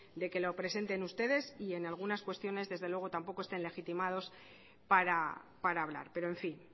de que lo presenten ustedes y en algunas cuestiones desde luego tampoco estén legitimados para hablar pero en fin